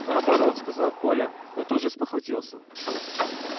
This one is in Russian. наоборот сказал коля но тут же спохватился